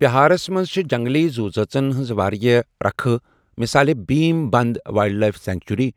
بِہارس منٛز چھےٚ جنگلی زُو ذٲژن ہِنٛزٕ واریاہ ركھہٕ مِثالے Bhim Bandh wildlife sanctuary,